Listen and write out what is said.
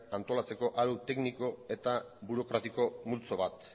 antolatzeko arau tekniko eta burokratiko multzo bat